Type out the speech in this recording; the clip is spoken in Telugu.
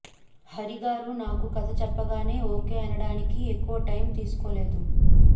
హరి గారు నాకు కథ చెప్పగానే ఓకే అనడానికి ఎక్కవ టైం తీసుకోలేదు